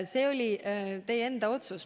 See oli teie enda otsus.